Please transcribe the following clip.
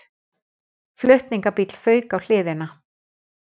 Flutningabíll fauk á hliðina